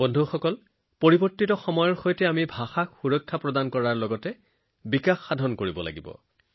বন্ধুসকল এই পৰিৱৰ্তিত সময়ত আমি নিজৰ ভাষাবোৰ ৰক্ষা কৰাৰ লগতে সেইবোৰ বৃদ্ধি কৰাটোও প্ৰয়োজন